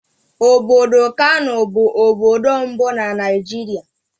Obodo Kanù bụ obodo mbụ na Naịjirịa.